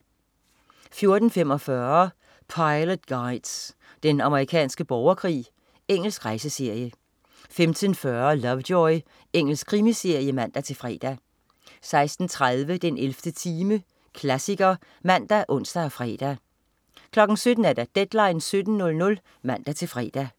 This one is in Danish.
14.45 Pilot Guides: Den amerikanske borgerkrig. Engelsk rejseserie 15.40 Lovejoy. Engelsk krimiserie (man-fre) 16.30 den 11. time. Klassiker (man, ons og fre) 17.00 Deadline 17.00 (man-fre)